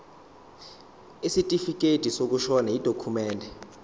isitifikedi sokushona yidokhumende